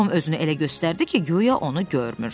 Tom özünü elə göstərdi ki, guya onu görmür.